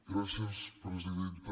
gràcies presidenta